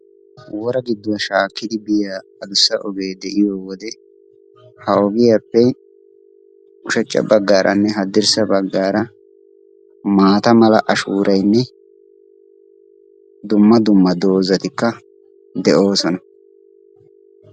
Wora giiddo shaakkidi adussa ogee de'iyoo wode ha ogiyaappe ushshachcha baggaranne haddirssa baggaara maata mala ashshooraynne dumma dumma doozzay de"oosona.